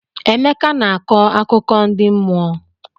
Emeka na-akọ akụkọ ndi mmụọ.